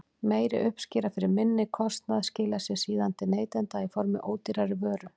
Meiri uppskera fyrir minni kostnað skilar sér síðan til neytenda í formi ódýrari vöru.